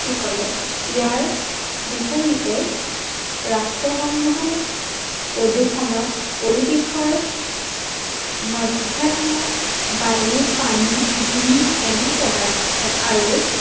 কৰে। ইয়াৰ বিপৰিতে ৰাষ্ট্ৰসংঘই প্ৰদূৰ্ষনক পৰিবেশৰ মধ্যাত্মক বায়ু, পানী, ধূলি এনে পদাৰ্থ আৰু